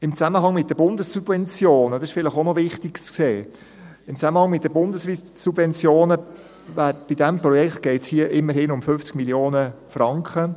Im Zusammenhang mit den Bundessubventionen – das ist vielleicht auch noch wichtig zu sehen – geht es bei diesem Projekt immerhin um 50 Mio. Franken.